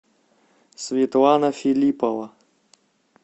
светлана филиппова